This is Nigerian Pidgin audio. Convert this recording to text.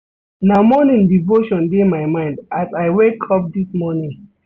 Na morning devotion dey my mind as I wake up dis morning.